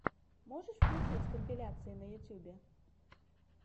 можешь включить компиляции на ютюбе